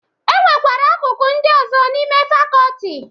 E nwekwara akụkụ ndị ọzọ n'ime fakọọti.